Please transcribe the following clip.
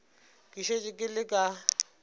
ke šetše ke le ka